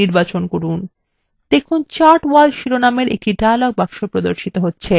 দেখুন chart wall শিরোনামের একটি dialog box প্রদর্শিত হচ্ছে